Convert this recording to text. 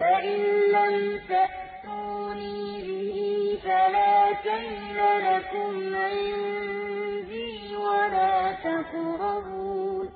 فَإِن لَّمْ تَأْتُونِي بِهِ فَلَا كَيْلَ لَكُمْ عِندِي وَلَا تَقْرَبُونِ